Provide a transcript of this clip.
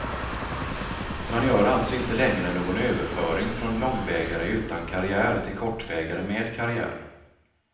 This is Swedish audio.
Man gör alltså inte längre någon överföring från långvägare utan karriär till kortvägare med karriär.